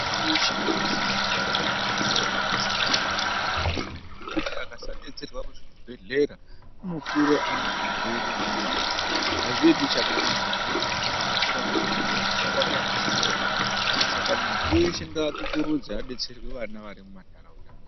Vana veshe vaka sisira kuti aende ko detserwa ku zvibhedhlera ngekuti asaka detserwa ku zvibhedhlera uno kura ane zvirwere umweni mwana azvizoiti chakanaka ngekuti mwana aka kura ane chirwere kufa kwake akusi kuretu ba saka muntu wese ngaa kukurudzwe adetserwe vana vari mu mandaraunda mwedu.